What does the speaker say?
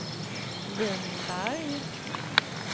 Vinberg